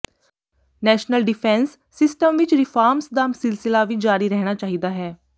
national defence system ਵਿਚ reforms ਦਾ ਸਿਲਸਿਲਾ ਵੀ ਜਾਰੀ ਰਹਿਣਾ ਚਾਹੀਦਾ ਹੈ